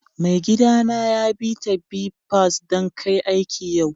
Maigida na ya bi'ta bipas dan kai aiki yau.